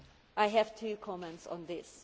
I have two comments on this.